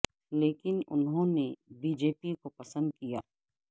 لیکن انہوں نے بی جے پی کو پسند کیا